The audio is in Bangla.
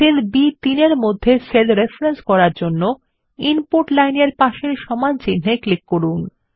সেল বি3 মধ্যে সেল রেফারেন্স করার জন্য ইনপুট লাইন এর পাশের সমানচিন্হে ক্লিক করুন